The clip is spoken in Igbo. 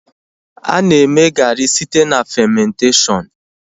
A na-eme gaari site na famentashọnụ